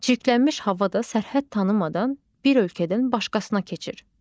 Çirklənmiş hava da sərhəd tanımadan bir ölkədən başqasına keçir.